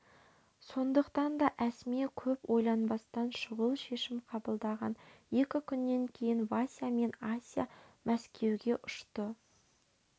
сондықтан да әсма көп ойланбастан шұғыл шешім қабылдаған екі күннен кейін вася мен ася мәскеуге ұшты